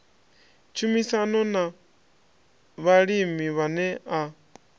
tshumisano na vhalimi vhane a